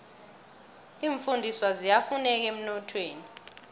iimfundiswa ziyafuneka emnothweni